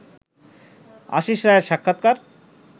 আশিস রায়ের সাক্ষাৎকার